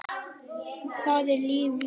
Hvað er lífið?